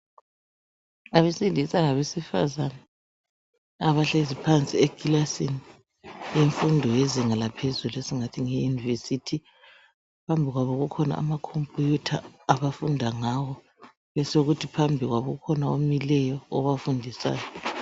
Abesilisa labesifazana abahlezi phansi ekilasini yemfundo yezinga laphezulu esingathi ngeye yunivesithi. Phambi kwabo kukhona ama khompiyutha abafunda ngawo, besekusithi phambi kwabo kukhona omileyo obafundisayo